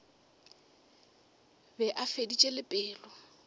be a feditše le pelo